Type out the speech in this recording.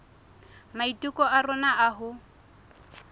maiteko a rona a ho